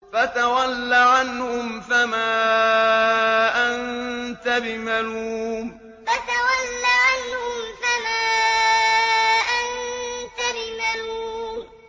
فَتَوَلَّ عَنْهُمْ فَمَا أَنتَ بِمَلُومٍ فَتَوَلَّ عَنْهُمْ فَمَا أَنتَ بِمَلُومٍ